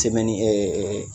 Tɛmɛ ni ɛ ɛ ɛ